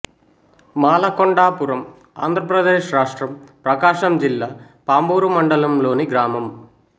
మాలకొండాపురం ఆంధ్ర ప్రదేశ్ రాష్ట్రం ప్రకాశం జిల్లా పామూరు మండలంలోని గ్రామం